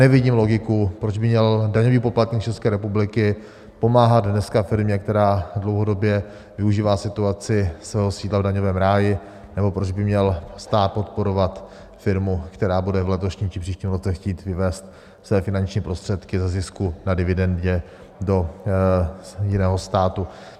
Nevidím logiku, proč by měl daňový poplatník České republiky pomáhat dneska firmě, která dlouhodobě využívá situaci svého sídla v daňovém ráji, nebo proč by měl stát podporovat firmu, která bude v letošním či příštím roce chtít vyvést své finanční prostředky ze zisku na dividendě do jiného státu.